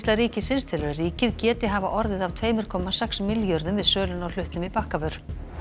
ríkisins telur að ríkið geti hafa orðið af tveimur komma sex milljörðum við söluna á hlutnum í Bakkavör